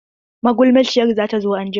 Magulmaciyar zata zo anjima.